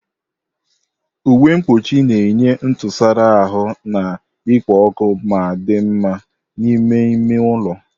Uwe mkpuchi na-enye ntụsara ahụ na-ekpo ọkụ ma dị mma n'ime ime ụlọ.